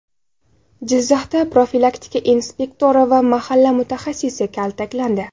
Jizzaxda profilaktika inspektori va mahalla mutaxassisi kaltaklandi.